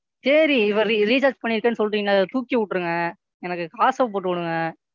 சேரி இப்ப Recharge பண்ணிருக்கன்னு சொல்றீங்கல்ல அதை தூக்கி விட்டுருங்க. எனக்கு காசை போட்டு விடுங்க.